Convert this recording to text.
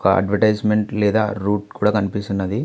ఒక అడ్వర్టైజ్మెంట్ లేదా రూట్ కూడా కనిపిస్తున్నది.